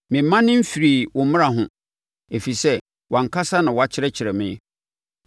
Memmane memfirii wo mmara ho, ɛfiri sɛ wʼankasa na woakyerɛkyerɛ me.